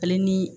Ale ni